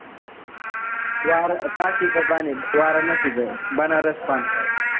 वारा काशीचं पान आहे, वाराणशीचं, बनारस पान